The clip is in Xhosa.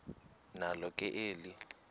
nalo ke eli